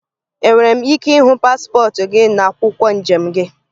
Enwere m ike ịhụ paspọtụ gị na akwụkwọ njem gị?